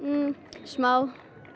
smá